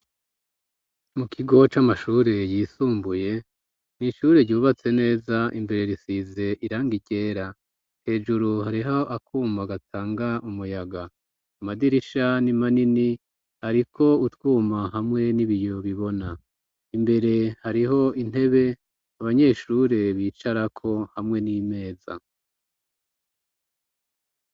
Mu kigo c'amashure yisumbuye, n'ishure ryubatse neza, imbere risize irangi ryera, hejuru hariho akuma gatanga umuyaga, amadirisha ni manini ariko utwuma, hamwe n'ibiyo bibona, imbere hariho intebe abanyeshure bicarako hamwe n'imeza.